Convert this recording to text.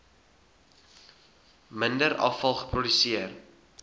minder afval geproduseer